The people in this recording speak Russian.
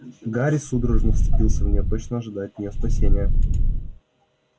гарри судорожно вцепился в неё точно ожидая от неё спасения